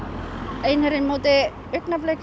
einherji á móti augnablik